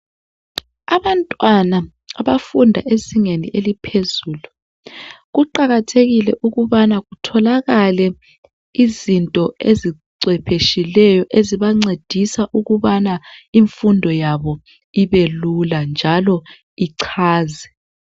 Abantwana abafunda ezingeni eliphezulu kuqakathekile ukubana kutholakale izinto ezicwephetshileyo ezibancedisa ukubana imfundo yabo ibelula njalo ichaze.